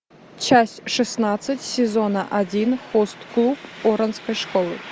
часть шестнадцать сезона один хост клуб оранской школы